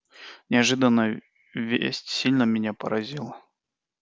неожиданная весть сильно меня поразила